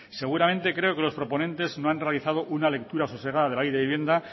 seguramente creo que los proponentes no han realizado una lectura sosegada de la ley de vivienda